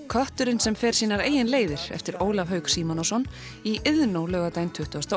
kötturinn sem fer sínar leiðir eftir Ólaf Hauk Símonarson í Iðnó laugardaginn tuttugasta